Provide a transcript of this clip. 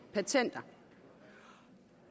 patenter